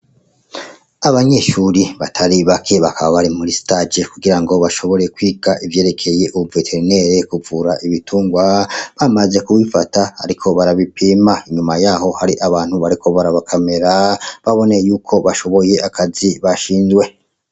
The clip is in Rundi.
Abanyishuri batari bake bakaba bari muri stajes kugira ngo bashobore kwiga ivyerekeye, ubu veterinele kuvura ibitungwa bamaje kubifata, ariko barabipima inyuma yaho hari abantu bariko bariabakamera babone yuko bashoboye akazi bashindwe.